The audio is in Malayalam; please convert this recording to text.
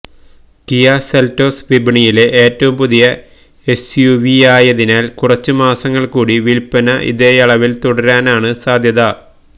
കിയ സെൽറ്റോസ് വിപണിയിലെ ഏറ്റവും പുതിയ എസ്യുവിയായതിനാൽ കുറച്ച് മാസങ്ങൾ കൂടി വിൽപ്പന ഇതേയളവിൽ തുടരാനാണ് സാധ്യത